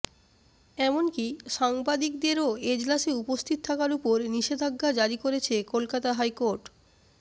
এমনকি সাংবাদিকদেরও এজলাসে উপস্থিত থাকার ওপর নিষেধাজ্ঞা জারি করেছে কলকাতা হাইকোর্ট